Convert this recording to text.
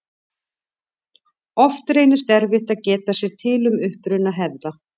Oft reynist erfitt að geta sér til um uppruna hefða.